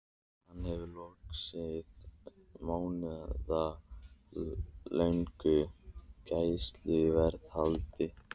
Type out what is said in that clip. Hann hafði lokið mánaðarlöngu gæsluvarðhaldi.